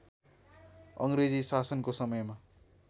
अङ्ग्रेजी शासनको समयमा